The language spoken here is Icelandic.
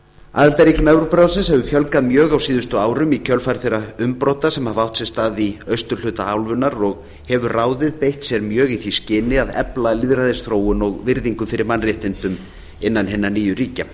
aðildarríkjum evrópuráðsins hefur fjölgað mjög á síðustu árum í kjölfar þeirra umbrota sem hafa átt sér stað í austurhluta álfunnar og hefur ráðið beitt sér mjög í því skyni að efla lýðræðisþróun og virðingu fyrir mannréttindum innan hinna nýju ríkja